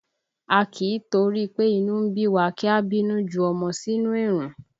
A kì í torí pé inú ń bí wa kí a bínú ju ọmọ sínú èrùn